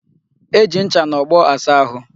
E ji ncha na ogbo asa ahu.